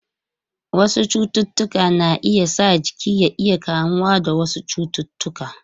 Wasu cututtuka na iya sa jiki ya iya kamuwa da wasu cututtuka.